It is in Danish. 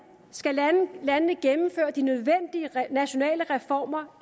skal landene gennemføre de nødvendige nationale reformer